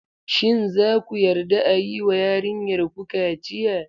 Shin za ku yarda a yi wa yarinyarku kaciya?